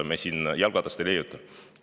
Me siin jalgratast ei leiuta.